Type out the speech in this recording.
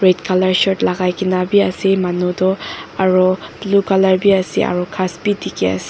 black colour shirt lagai ke na be ase manu toh aru blue colour be ase aru ghas be dikhi ase.